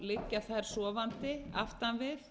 liggja þær sofandi aftan við